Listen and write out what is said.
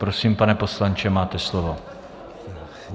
Prosím, pane poslanče, máte slovo.